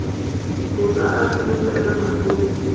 hu sa athu fhela maḓuvha